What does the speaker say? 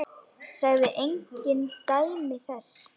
Sagði engin dæmi þess.